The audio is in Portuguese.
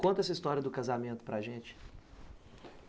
Conta essa história do casamento para gente.